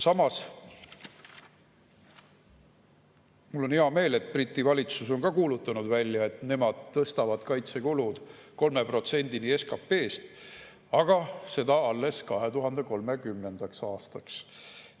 Samas, mul on hea meel, et Briti valitsus on ka kuulutanud välja, et nemad tõstavad kaitsekulud 3%‑ni SKP‑st, aga seda alles 2030. aastaks.